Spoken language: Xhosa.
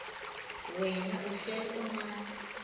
wena uhlel unam